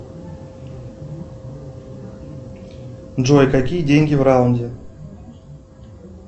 джой какие деньги в раунде